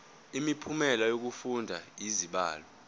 imiphumela yokufunda izibalo